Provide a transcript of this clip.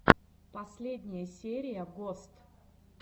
последняя серия гост